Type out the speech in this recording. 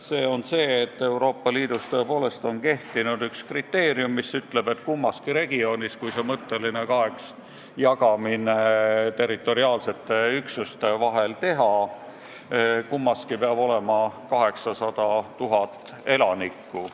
See on tõsiasi, et Euroopa Liidus tõepoolest on kehtinud kriteerium, mis ütleb, et kui see mõtteline kaheks jagamine territoriaalsete üksuste vahel teha, siis mõlemas regioonis peab olema vähemalt 800 000 elanikku.